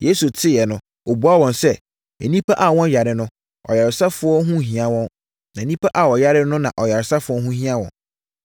Yesu teeɛ no, ɔbuaa wɔn sɛ, “Nnipa a wɔnyare no, ɔyaresafoɔ ho nhia wɔn, na nnipa a wɔyare no na ɔyaresafoɔ ho hia wɔn.”